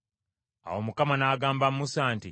Awo Mukama n’agamba Musa nti,